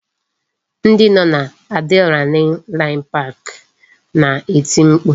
Ndị nọ n'Adrenaline pik na-eti mkpu